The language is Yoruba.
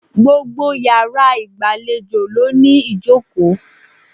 Gbogbo iyàrá ìgbàlejò ló ní ìjòkó